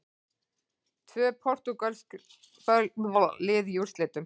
Tvö portúgölsk lið í úrslitum